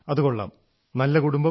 ആഹാ നല്ല കുടുംബം